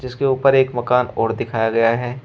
उसके ऊपर एक मकान और दिखाया गया है।